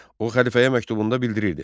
O xəlifəyə məktubunda bildirirdi: